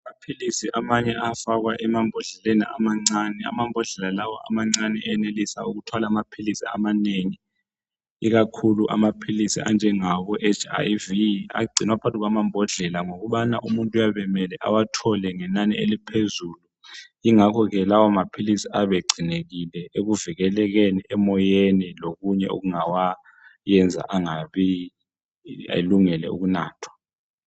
Amaphilisi amanye ayafakwakwa phakathi kwamabhodlela amancane ,Amambodlela lawo amancane ayenelisa ukuthwala amaphilisi amanengi ikakhu anjengamaphilisi eHIV ngoba umuntu kuyabe kumele athole inani lamaphilisi aphezulu ayafakwa ebhodleleni uluze bawathole evikelekile elungelwe ukunathwa.